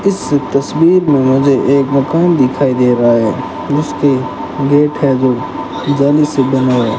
इस तस्वीर में मुझे एक मकान दिखाई दे रहा है उसके गेट है जो जाली से बना --